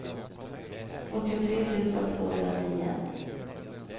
åttiotre tusen tvåhundranio